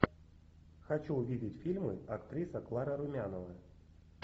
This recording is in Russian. хочу увидеть фильмы актриса клара румянова